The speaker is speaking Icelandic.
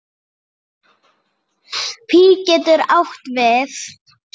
Pí getur átt við